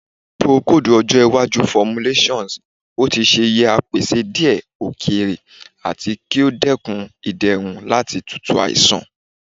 Procold ojo iwaju formulations o ti ṣe yẹ a pese diẹ okeerẹ ati ki o dekun iderun lati tutu aisan